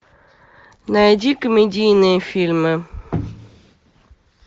найди комедийные фильмы